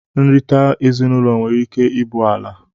nrita ezinụlọ nwere ike ibụ ala.